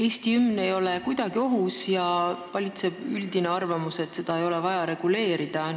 Eesti hümn ei ole kuidagi ohus ja valitseb üldine arvamus, et seda ei ole vaja reguleerida.